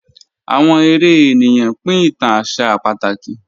Awọn èrè ènìyàn pín ìtàn àṣà pátákì